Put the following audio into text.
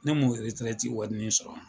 Ne m'o eretirɛti warinin sɔrɔ wa